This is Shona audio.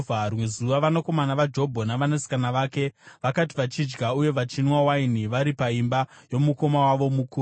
Rimwe zuva vanakomana vaJobho navanasikana vake vakati vachidya uye vachinwa waini vari paimba yomukoma wavo mukuru,